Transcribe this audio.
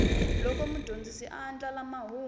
loko mudyondzi a andlala mahungu